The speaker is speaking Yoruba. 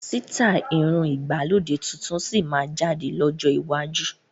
Àwọn sítai irun ìgbàlódé tuntun síí máa jáde lọ́jọ́ iwájú